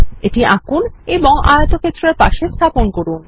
এটি আঁকুন এবং আয়তক্ষেত্রের পাশে স্থাপন করুন